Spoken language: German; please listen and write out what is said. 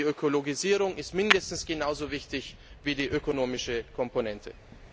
Aber die Ökologisierung ist mindestens genau so wichtig wie die ökonomische Komponente.